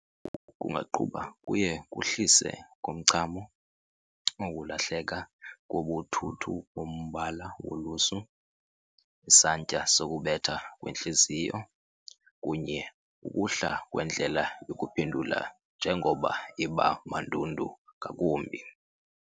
Oku kungaqhuba kuye kuhlise komchamo, ukulahleka kobuthuthu kombala wolusu, isantya sokubetha kwentliziyo, kunye ukuhla kwendlela yokuphendula njengoko iba mandundu ngakumbi.